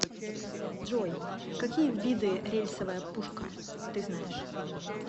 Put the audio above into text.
джой какие виды рельсовая пушка ты знаешь